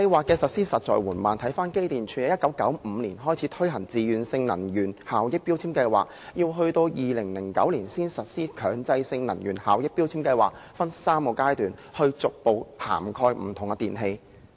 機電工程署在1995年開始推行自願性能源效益標籤計劃，到2009年才實施強制性能源效益標籤計劃，分3個階段逐步涵蓋不同的電器。